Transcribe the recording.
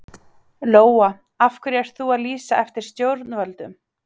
Lóa: Af hverju ert þú að lýsa eftir stjórnvöldum?